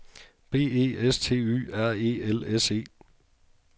B E S T Y R E L S E